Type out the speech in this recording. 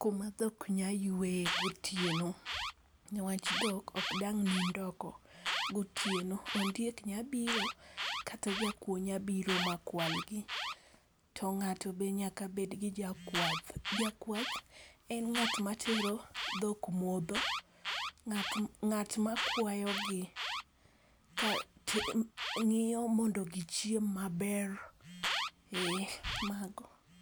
kuma dhok nyalo yueye gotieno. Niwach dhok ok dang' nind oko gotieno. Ondiek nyalo biro kata jakuo nyalo biro makwalgi. To ng'ato be nyaka bed gi jakwath, jakwath en ng'at matero dhok modho, ng'at makwayogi, ng'iyo mondo gichiem maber, ee mago.